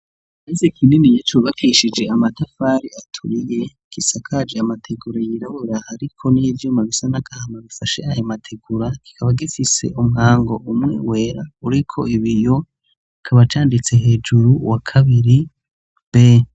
Ikirase kininiya cubakishije amatafari aturiye gisakaje amategura yirabura hariko n'ivyuma bisa n'agahama bifashe ayo mategura kikaba gifise umwango umwe wera uriko ibiyo kikaba canditse hejuru uwa kabiri b.